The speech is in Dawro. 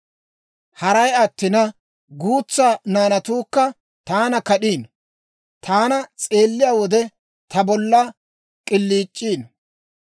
Haray attina, guutsa naanatuukka taana kad'iino; taana s'eeliyaa wode, ta bolla k'iliic'iino.